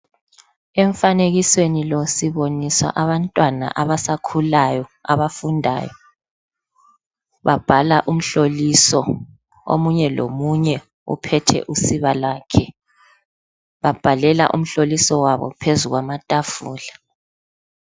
Emfanekisweni lo sibonisa abantwana abasakhulayo abafundayo babhala umhloliso omunye lomunye uphethe usiba lwakhe babhalela umhloliso wabo phezulu kwamatafula